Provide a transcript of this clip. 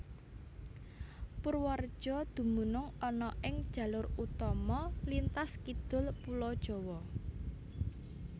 Purwareja dumunung ana ing jalur utama lintas kidul Pulo Jawa